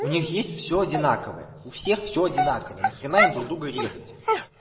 у них есть всё одинаковое у всех всё одинаковое на хрена им друг друга резать